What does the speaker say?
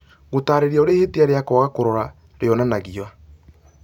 gũtaarĩria ũrĩa ihĩtia rĩa kwaga kũrora rĩonanagia